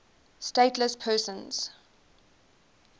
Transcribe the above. stateless persons